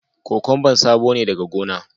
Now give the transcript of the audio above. Kokwamba sabo ne daga gona